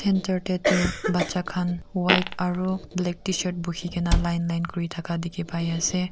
enter te tu bacha khan white aru black tshirt bukhi kene line line kuri thaka dikhi pai ase.